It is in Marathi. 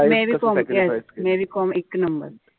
मेरी कोम yes मेरी कोम एक number.